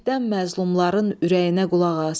Ürəkdən məzlumların ürəyinə qulaq as.